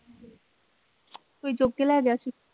ਕੋਈ ਚੁੱਕ ਕੇ ਲੈ ਗਿਆ ਸੀ।